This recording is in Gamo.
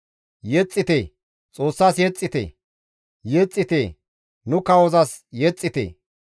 Yexxite, Xoossas yexxite; yexxite nu kawozas yexxite.